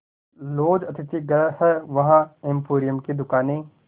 laws अतिथिगृह हैं वहाँ एम्पोरियम दुकानें